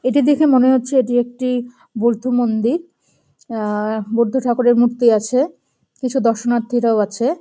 এটি দেখে মনে হচ্ছে এটি একটি বোদ্ধ মন্দির আহ বোদ্ধ ঠাকুরের মূর্তি আছে কিছু দর্শনার্থীরাও আছে।